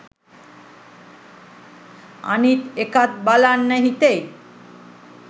අනිත් එකත් බලන්න හිතෙයි.